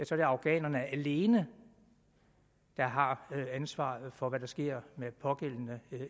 så er afghanerne alene der har ansvaret for hvad der sker med den pågældende